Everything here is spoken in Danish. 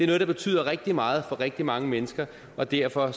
noget der betyder rigtig meget for rigtig mange mennesker og derfor